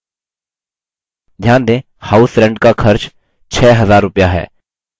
ध्यान दें house rent का खर्च 6000 रुपया है